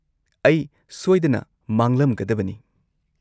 -ꯑꯩ ꯁꯣꯏꯗꯅ ꯃꯥꯡꯂꯝꯒꯗꯕꯅꯤ ꯫